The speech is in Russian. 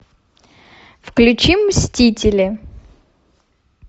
включи мстители